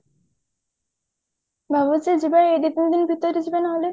ଭାବୁଛି ଯିବା ଏଇ ଦିତିନି ଦିନ ଭିତରେ ଯିବା ନହେଲେ